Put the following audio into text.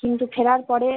কিন্তু ফেরার পরে